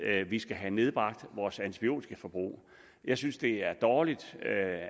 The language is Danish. at vi skal have nedbragt vores antibiotikaforbrug jeg synes det er dårligt